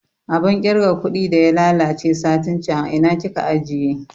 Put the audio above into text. Abun kirga kuɗi da ya lalace satin can a ina kika ajiye?